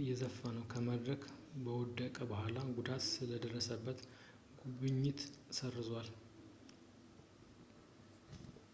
እየዘፈነ ከመድረክ ከወደቀ በኋላ ጉዳት ስለደረሰበት ጉብኝቱን ሰርዘዋል